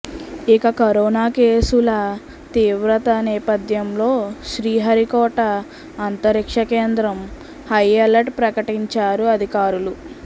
ఇక కరోనా కేసుల తీవ్రత నేపథ్యంలో శ్రీహరికోట అంతరిక్ష కేంద్రం హైఅలర్ట్ ప్రకటించారు అధికారులు